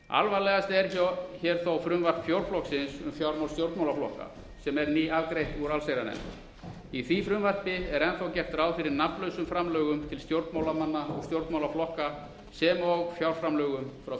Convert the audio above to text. alvarlegast er þó frumvarp fjórflokksins um fjármál stjórnmálaflokka sem er nýafgreitt úr allsherjarnefnd í því frumvarpi er enn þá gert ráð fyrir nafnlausum framlögum til stjórnmálamanna og stjórnmálaflokka sem og fjárframlögum frá